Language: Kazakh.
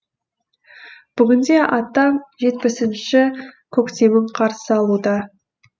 бүгінде атам жетпісінші көктемін қарсы алуда